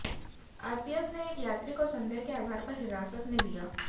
RPF ने एक यात्री को संदेह के आधार पर हिरासत में लिया